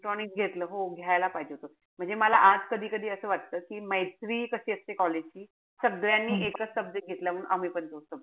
Electronics घेतलं हो घ्यायला पाहिजे. म्हणजे मला आज कधी-कधी असं वाटत कि मैत्री कशी असते college ची. सगळ्यांनी एकच subject घेतलाय म्हणून मीपण तोच subject